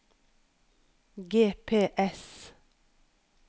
GPS